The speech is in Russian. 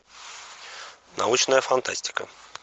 научная фантастика